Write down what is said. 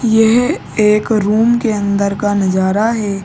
यह एक रूम के अन्दर का नजारा है।